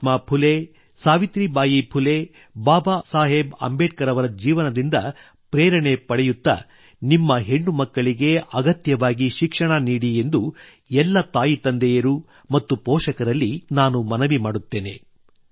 ಮಹಾತ್ಮಾ ಫುಲೆ ಸಾವಿತ್ರಿಬಾಯಿ ಫುಲೆ ಬಾಬಾ ಸಾಹೇಬ್ ಅಂಬೇಡ್ಕರ್ ಅವರ ಜೀವನದಿಂದ ಪ್ರೇರಣೆ ಪಡೆಯುತ್ತ ನಿಮ್ಮ ಹೆಣ್ಣುಮಕ್ಕಳಿಗೆ ಅಗತ್ಯವಾಗಿ ಶಿಕ್ಷಣ ನೀಡಿ ಎಂದು ಎಲ್ಲ ತಾಯಿತಂದೆಯರು ಮತ್ತು ಪೋಷಕರಲ್ಲಿ ನಾನು ಮನವಿ ಮಾಡುತ್ತೇನೆ